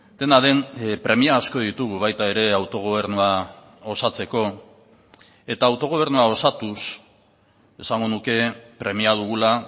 dena den premia asko ditugu baita ere autogobernua osatzeko eta autogobernua osatuz esango nuke premia dugula